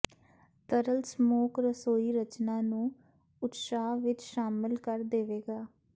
ਤਰਲ ਸਮੋਕ ਰਸੋਈ ਰਚਨਾ ਨੂੰ ਉਤਸ਼ਾਹ ਵਿੱਚ ਸ਼ਾਮਿਲ ਕਰ ਦੇਵੇਗਾ